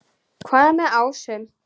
Hvað er með ásum?